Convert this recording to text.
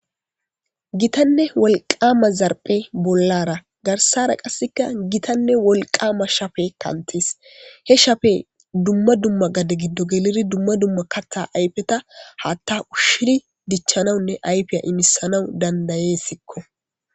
Gitanne wolqama zarphe bollara garsara qasseka gitanne wolqama shafe kantees he shafe dumma dumma gade giddo geliri dumma dumma kattha ayfeta haatta ushshiri dichchanawunne ayfiya imisanawu dandayessikko.